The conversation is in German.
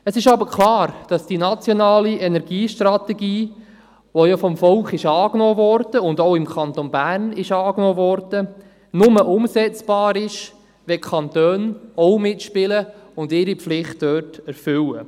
Es ist aber klar, dass die nationale Energiestrategie – die auch vom Volk angenommen wurde und auch im Kanton Bern angenommen wurde – nur umsetzbar ist, wenn die Kantone auch mitspielen und ihre Pflichten dort erfüllen.